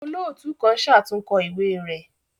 Olootu kan ṣatunkọ iwe rẹ